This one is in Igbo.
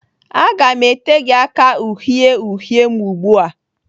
Aga m ete gị aka uhie uhie m ugbu a!